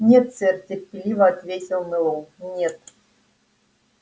нет сэр терпеливо ответил мэллоу нет